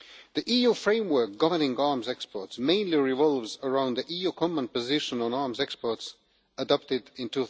The EU framework governing arms exports mainly revolves around the EU common position on arms exports adopted in